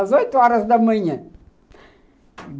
Às oito horas da manhã.